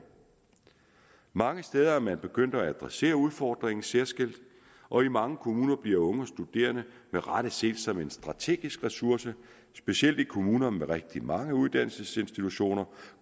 mange steder er man begyndt at adressere udfordringen særskilt og i mange kommuner bliver unge studerende med rette set som en strategisk ressource specielt i kommuner med rigtig mange uddannelsesinstitutioner